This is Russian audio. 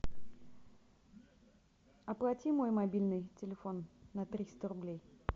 оплати мой мобильный телефон на триста рублей